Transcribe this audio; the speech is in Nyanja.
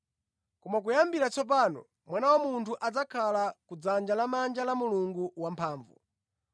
Koma kuyambira tsopano, Mwana wa Munthu adzakhala ku dzanja lamanja la Mulungu wamphamvu.”